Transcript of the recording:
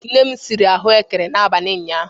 Nne m siri ahụekere n'abali ụnyahụ.